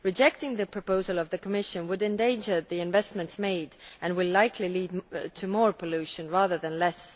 Rejecting the proposal of the Commission would endanger the investments made and will likely lead to more pollution rather than less.